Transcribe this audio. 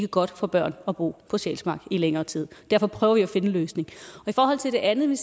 godt for børn at bo på sjælsmark i længere tid derfor prøver vi at finde en løsning i forhold til det andet vil